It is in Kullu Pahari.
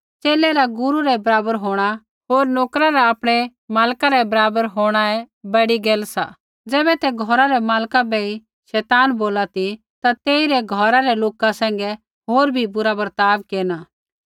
च़ेले रा गुरू रै बराबर होंणा होर नोकरा रा आपणै मालका रै बराबर होणाऐ बड़ी गैल सा ज़ैबै तै घौरा रै मालका बै ही शैताना बोला ती ता तेइरै घौरा रै लोका सैंघै होर भी बुरा वर्ताव केरना